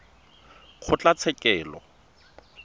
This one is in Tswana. kgotlatshekelo